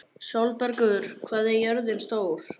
Sólbergur, hvað er jörðin stór?